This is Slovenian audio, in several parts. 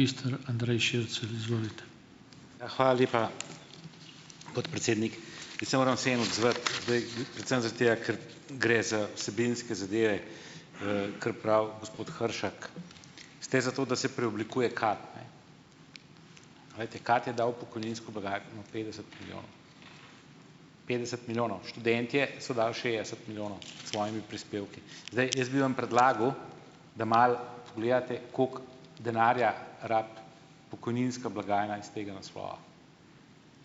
Ja, hvala lepa, podpredsednik! Jaz se moram vseeno odzvati, zdaj, predvsem zaradi tega, ker gre za vsebinske zadeve, kar pravi gospod Hršak. Ste za to, da se preoblikuje KAD, ne, glejte, KAD je dal v pokojninsko blagajno petdeset milijonov, petdeset milijonov. Študentje so dali šestdeset milijonov s svojimi prispevki. Zdaj, jaz bi vam predlagal, da malo gledate, koliko denarja rabi pokojninska blagajna iz tega naslova,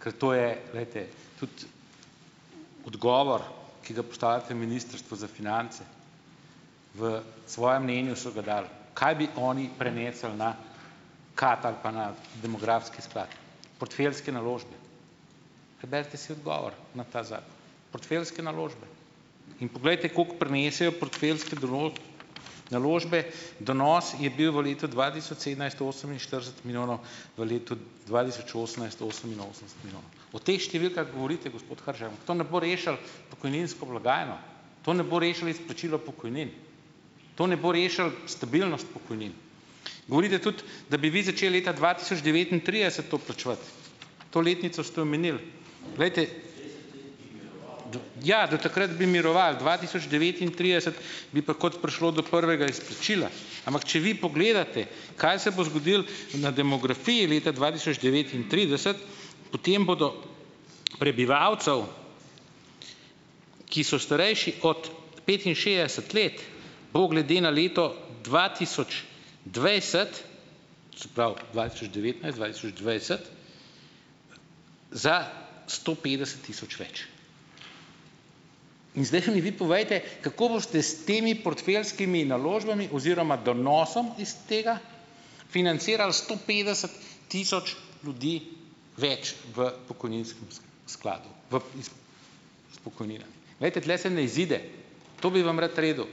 ker to je, glejte, tudi odgovor, ki ga postavljate Ministrstvu za finance, v svojem mnenju so ga dali, kaj bi oni prenesli na KAD ali pa na demografski sklad - portfeljske naložbe. Preberite si odgovor na ta zakon, portfeljske naložbe. In poglejte, kako prinesejo portfeljske naložbe - donos je bil v letu dva tisoč sedemnajst oseminštirideset milijonov, v letu dva tisoč osemnajst oseminosemdeset milijonov. O teh številkah govorite, gospod Hršak. To ne bo rešilo pokojninsko blagajno, to ne bo rešilo izplačilo pokojnin, to ne bo rešili stabilnost pokojnin. Govorite tudi, da bi vi začeli leta dva tisoč devetintrideset to plačevati. To letnico ste omenili. Glejte, ja, do takrat bi miroval, dva tisoč devetintrideset bi pa kot prišlo do prvega izplačila, ampak če vi pogledate, kaj se bo zgodilo na demografiji leta dva tisoč devetintrideset, potem bodo, prebivalcev, ki so starejši od petinšestdeset let, bo glede na leto dva tisoč dvajset, se pravi, dva tisoč devetnajst dva tisoč dvajset, za sto petdeset tisoč več. In zdaj mi vi povejte, kako boste s temi portfeljskimi naložbami oziroma donosom iz tega financirali sto petdeset tisoč ljudi več v pokojninskem skladu, v iz iz pokojnine. Glejte, tule se ne izide. To bi vam rad redu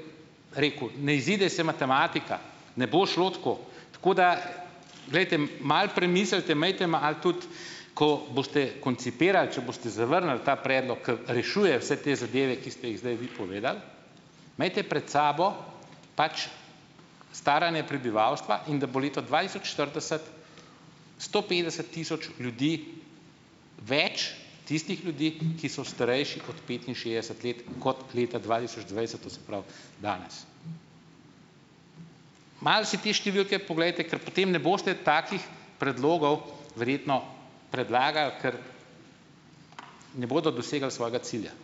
rekel. Ne izide se matematika, ne bo šlo tako. Tako da, glejte, malo premislite, imejte malo tudi, ko boste koncipirali, če boste zavrnili ta predlog, ki rešuje vse te zadeve, ki ste jih zdaj vi povedali, imejte pred sabo pač staranje prebivalstva in da bo leto dva tisoč štirideset, sto petdeset tisoč ljudi več tistih ljudi, ki so starejši od petinšestdeset let, kot leta dva tisoč dvajset, to se pravi danes. Malo si te številke poglejte, ker potem ne boste takih predlogov verjetno predlagali, ker ne bodo dosegali svojega cilja.